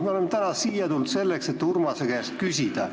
Me oleme täna siia tulnud selleks, et Urmase käest küsida.